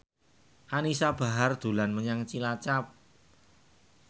Anisa Bahar dolan menyang Cilacap